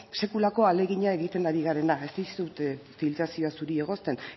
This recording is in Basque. sekulako ahalegina egiten ari garena ez dizut filtrazioa zuri egozten